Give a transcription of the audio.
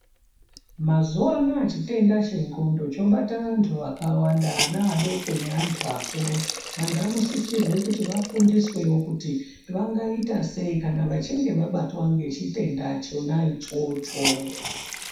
Mazuva anoaya chitenda chendxondo chobata antu akawanda vana vadoko nevantu vakuru antu anosisirwa kuti vafundiswe wo kuti vangaitwa sei kana vabatwa nechitenda chona ichocho.